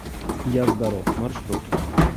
я здоров маршрут